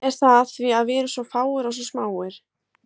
Er það af því að við erum svo fáir, og svo smáir?